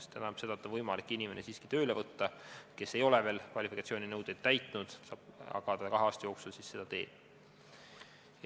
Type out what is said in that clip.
See tähendab seda, et on võimalik siiski tööle võtta inimene, kes veel kvalifikatsiooninõudeid ei täida, aga kahe aasta jooksul ta seda teeb.